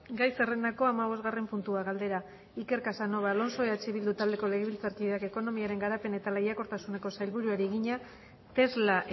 gai zerrendako hamabosgarren puntua galdera iker casanova alonso eh bildu taldeko legebiltzarkideak ekonomiaren garapen eta lehiakortasuneko sailburuari egina tesla